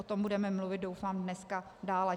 O tom budeme mluvit, doufám, dneska dále.